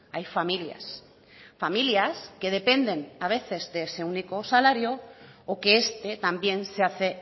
hay familias familias que dependen a veces de ese único salario o que este también se hace